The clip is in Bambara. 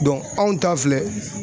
anw ta filɛ